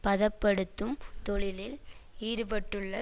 பதப்படுத்தும் தொழிலில் ஈடுபட்டுள்ள